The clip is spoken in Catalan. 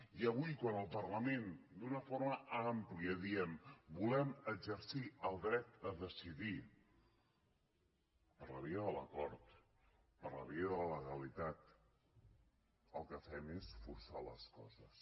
i avui quan al parlament d’una forma àmplia diem volem exercir el dret a decidir per la via de l’acord per la via de la legalitat el que fem és forçar les coses